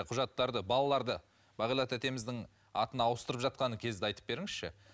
құжаттарды балаларды бағила тәтеміздің атына ауыстырып жатқан кезді айтып беріңізші